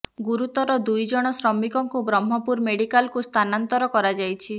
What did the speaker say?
ଗୁରୁତର ଦୁଇ ଜଣ ଶ୍ରମିକଙ୍କୁ ବ୍ରହ୍ମପୁର ମେଡିକାଲକୁ ସ୍ଥାନାନ୍ତର କରାଯାଇଛି